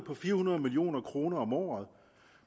fire hundrede million kroner om året